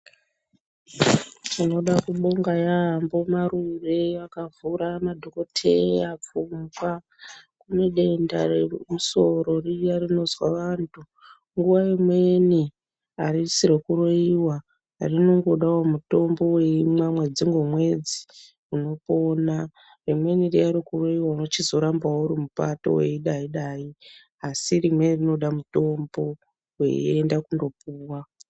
Tinoda kubonga yaambo Marure akavhura madhokodheya pfungwa. Kune denda remusoro riya rinozwa vantu. Nguva imweni harisi rokuroiwa. Rinongodawo mutombo weimwa mwedzi ngomwedzi, unopona. Rimweni riya rekuroiwa unochizorambawo uri mupato weidai dai, asi rimweni rinoda mutombo weienda kundopuwa.